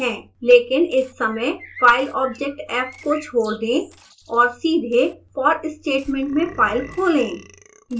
लेकिन इस समय file object f को छोड़ दें और सीधे for statement में फाइल खोलें